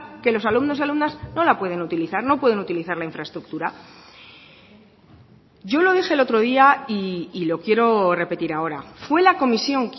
que los alumnos y alumnas no la pueden utilizar no pueden utilizar la infraestructura yo lo dije el otro día y lo quiero repetir ahora fue la comisión